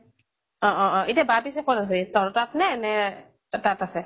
অ অ অ । এতিয়া বা পিছে কʼত আছে? তহঁতৰ তাত নে, নে তাত আছে?